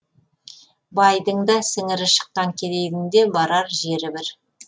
байдың да сіңірі шыққан кедейдің де барар жері бір